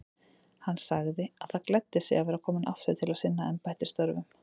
Hann sagði það gleddi sig að vera kominn aftur til að sinna embættisstörfum.